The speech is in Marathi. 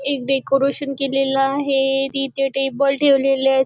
एक डेकोरेशन केलेल आहे तिथे टेबल ठेवलेले अस--